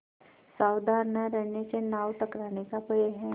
सावधान न रहने से नाव टकराने का भय है